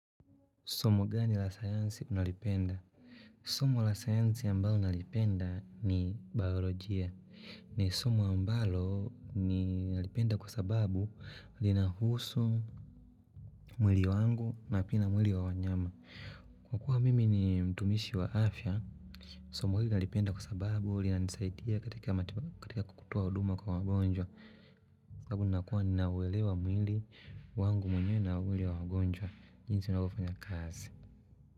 Somo gani la sayansi unalipenda? Somo la sayansi ambalo nalipenda ni bayolojia. Ni somo ambalo ni nalipenda kwa sababu linahusu mwili wangu na pia na mwili wa wanyama. Kwa kuwa mimi ni mtumishi wa afya Somo hili nalipenda kwa sababu lina nisaidia katika kutoa huduma kwa wagonjwa. Kwa kuwa ninauelewa mwili wangu mwenye na mwili wa wagonjwa jinsi unavyo fanya kazi.